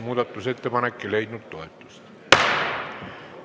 Muudatusettepanek ei leidnud toetust.